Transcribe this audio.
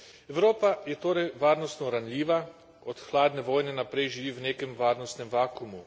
Evropa je torej varnostno ranljiva, od hladne vojne naprej živi v nekem varnostnem vakuumu.